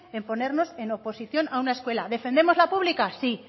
en ponernos en oposición a una escuela defendemos la pública sí